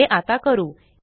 हे आता करू